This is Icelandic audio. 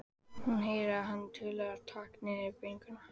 Hún heyrir að hann tuldrar takk niður í bringuna.